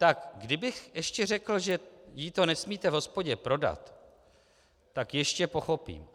Tak kdybych ještě řekl, že jí to nesmíte v hospodě prodat, tak ještě pochopím.